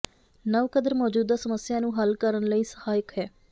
ਨਵ ਕਦਰ ਮੌਜੂਦਾ ਸਮੱਸਿਆ ਨੂੰ ਹੱਲ ਕਰਨ ਲਈ ਸਹਾਇਕ ਹੈ